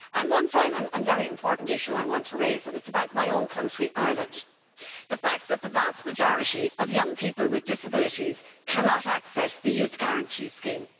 One final, and very important, issue I want to raise is about my own country, Ireland, and the fact that the vast majority of young people with disabilities cannot access the Youth Guarantee Scheme.